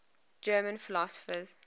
german philosophers